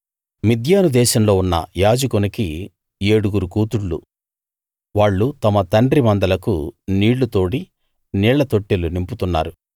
మిద్యాను దేశంలో ఉన్న యాజకునికి ఏడుగురు కూతుళ్ళు వాళ్ళు తమ తండ్రి మందలకు నీళ్లు తోడి నీళ్ళ తొట్టెలు నింపుతున్నారు